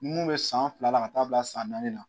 Mun be san fila la ka taa bila san naani na